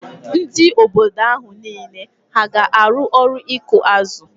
Ndị obodo ahụ niile hà ga-arụ ọrụ ịkụ azụ?